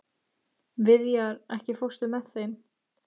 Viðjar, ekki fórstu með þeim?